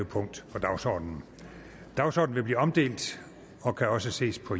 punkt på dagsordenen dagsordenen vil blive omdelt og kan også ses på